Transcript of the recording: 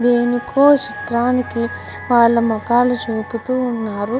దానికి వాళ్ళ మొకాలు చూపుతూ ఉన్నారు.